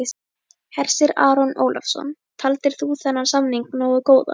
Hersir Aron Ólafsson: Taldir þú þennan samning nógu góðan?